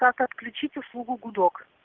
как то отключить услугу гудок